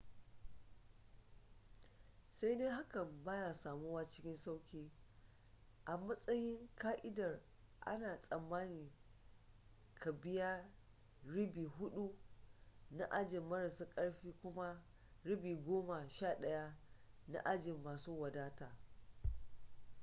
sai dai hakan ba ya samuwa cikin sauƙi a matsayin ƙa'idar ana tsammanin ka biya ribi hudu na ajin marasa karfi kuma ribi goma sha daya na ajin masu wadataa